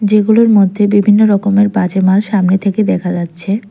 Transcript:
যেগুলির মধ্যে বিভিন্ন রকমের বাজে মাল সামনে থেকে দেখা যাচ্ছে।